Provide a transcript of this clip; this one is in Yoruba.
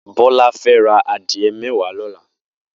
Bola fè rà adiẹ mẹwá lọlá